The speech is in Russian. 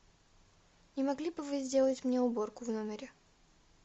не могли бы вы сделать мне уборку в номере